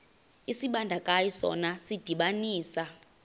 isibandakanyi sona sidibanisa